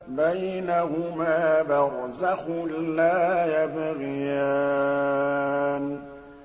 بَيْنَهُمَا بَرْزَخٌ لَّا يَبْغِيَانِ